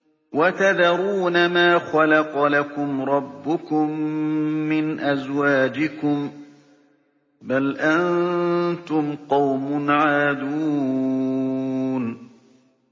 وَتَذَرُونَ مَا خَلَقَ لَكُمْ رَبُّكُم مِّنْ أَزْوَاجِكُم ۚ بَلْ أَنتُمْ قَوْمٌ عَادُونَ